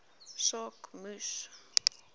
saak moes